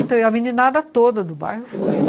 Então, e a meninada toda do bairro foi, né?